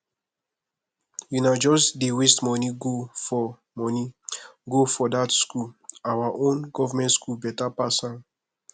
una just dey waste money go for money go for that school our own government school better pass am